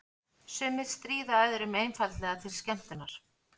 Sumir stríða öðrum einfaldlega til skemmtunar.